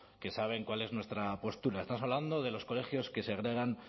que saben cuál es nuestra postura estamos hablando de los colegios que segregan